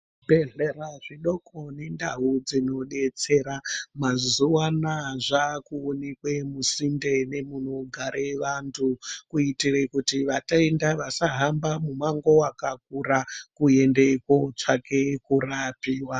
Zvibhehleya zvidoko nendau dzinodetsera mazuwa Anaya zvakuoneke musinde nemunogare vandu kuitira vatenda vasahambe mumango wakakura kuenda kunotsvake kurapiwa.